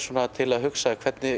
til að hugsa hvernig